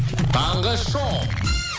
таңғы шоу